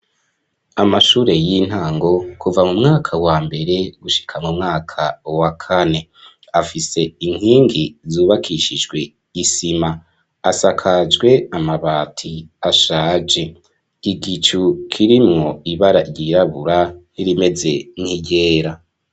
Amashure y'intango kuva mu mwaka wa mbere gushika mu mwaka wa kane afise inkingi zubakishijwe isima asakajwe amabati ashaje igicu kirimwo ibara ryirabura rimeze nk'iryera.